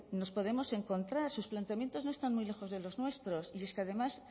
nos podemos encontrar sus planteamientos no están muy lejos de los nuestros y es que además